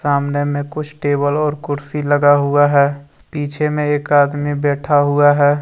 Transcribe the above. आमने में कुछ टेबल और कुर्सी लगा हुआ है पीछे में एक आदमी बैठा हुआ है।